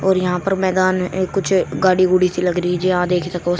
और यहां पर मैदान में कुछ गाड़ी गुड़ी सी लग रही जी हां देख सको।